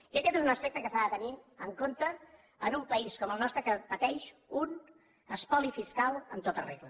i aquest és un aspecte que s’ha de tenir en compte en un país com el nostre que pateix un espoli fiscal en tota regla